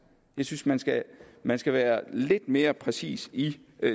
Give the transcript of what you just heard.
jeg synes man skal man skal være lidt mere præcis i